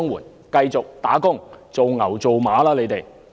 你們繼續工作，做牛做馬吧！